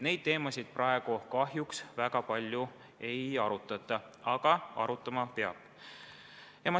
Neid teemasid praegu kahjuks väga palju ei arutata, aga arutama peaks.